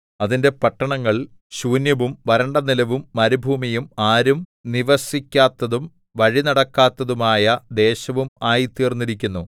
അതിന്റെ പട്ടണങ്ങൾ ശൂന്യവും വരണ്ടനിലവും മരുഭൂമിയും ആരും നിവസിക്കാത്തതും വഴിനടക്കാത്തതും ആയ ദേശവും ആയിത്തീർന്നിരിക്കുന്നു